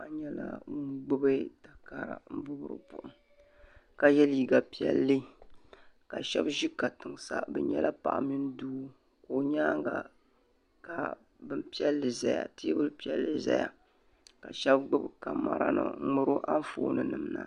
Paɣa nyɛla ŋun gbibi takara m moori buɣum ka ye liiga piɛlli ka sheba ʒi katiŋ sa bɛ nyɛla paɣa mini doo ka o nyaanka terbupiɛlli ʒɛya ka sheba gbibi kamara nima n ŋmaari o Anfooni nima na.